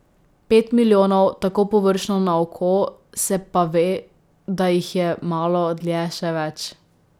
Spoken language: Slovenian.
Pet milijonov, tako površno na oko, se pa ve, da jih je malo dlje še več.